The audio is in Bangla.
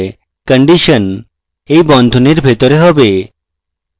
condition এই বন্ধনীর ভিতরে হবে